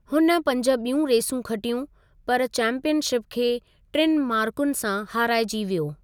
हुन पंज ॿियूं रेसूं खटियूं पर चैंपियनशिप खे टिनि मार्कूनि सां हाराइजी वियो।